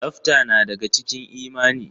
Tsafta na daga cikin imani.